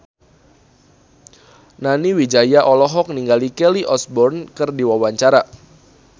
Nani Wijaya olohok ningali Kelly Osbourne keur diwawancara